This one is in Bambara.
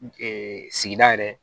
sigida yɛrɛ